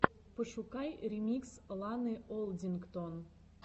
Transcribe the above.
пошукай ремикс ланы олдингтон